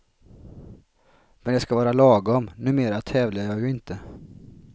Men det ska vara lagom, numera tävlar jag ju inte.